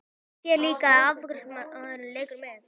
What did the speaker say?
Hún sér líka að afgreiðslumaðurinn leikur með.